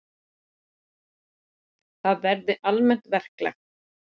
Það verði almennt verklag.